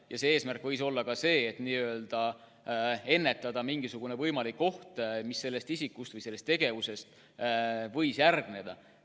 Ja eesmärk võis olla ka see, et ennetada mingisugust võimalikku ohtu, mis selle isiku tegevusest võis tuleneda.